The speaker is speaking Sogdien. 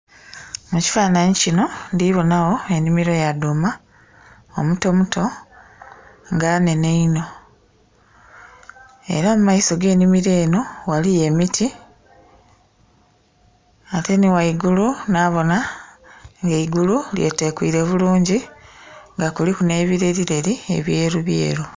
Mu kifananhi kinho ndhibonha gho enhimiro ya dhuma omutomuto nga nhenhe inho era mu maiso ge nhimiro enho waliyo emiti ate nhi ghaigulu nha bonha nga eigulu lye tekwire bulungi nga kuliku nhe birerireri ebyeru ebyeru.